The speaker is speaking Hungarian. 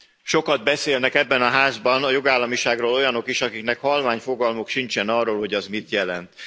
Sokat beszélnek ebben a házban a jogállamiságról olyanok is, akiknek halvány fogalmuk sincsen arról, hogy az mit jelent.